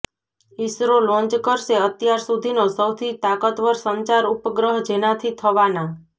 ISRO launch કરશે અત્યાર સુધીનો સૌથી તાકતવર સંચાર ઉપગ્રહ જેનાથી થવાના